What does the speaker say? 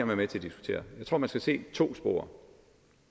være med til at diskutere jeg tror man skal se to spor